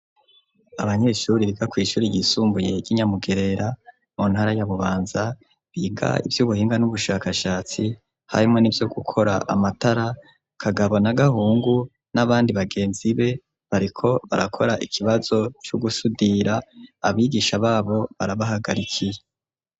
Abanyeshuri riga kw'ishuri yisumbuyer'inyamugerera montara y'abubanza biga ivyo ubuhinga n'ubushakashatsi harimwo ni vyo gukora amatara kagabo na gahungu n'abandi bagenzi be bariko barakora ikibazo c'ugusudira abigisha babo barabahagarikiye.